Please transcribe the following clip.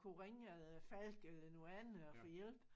Kunne ringe øh Falck øh nogle andre og få hjælp